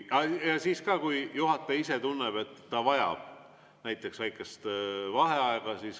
Siis ka, kui juhataja ise tunneb, et ta vajab väikest vaheaega.